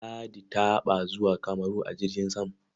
Ladi taɓa zuwa Kamaru a jirgin sam.